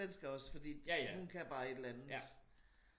Den skal også fordi hun kan bare et eller andet